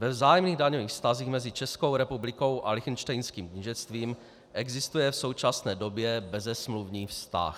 Ve vzájemných daňových vztazích mezi Českou republikou a Lichtenštejnským knížectvím existuje v současné době bezesmluvní vztah.